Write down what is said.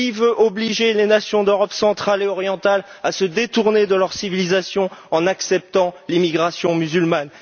Qui veut obliger les nations d'Europe centrale et orientale à se détourner de leur civilisation en acceptant l'immigration musulmane?